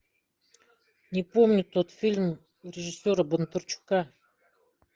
не помню тот фильм режиссера бондарчука